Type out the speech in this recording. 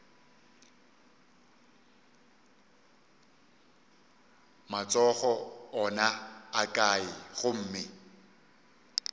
matsogo ona a kae gomme